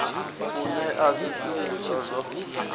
u newa zwi shumiswa zwo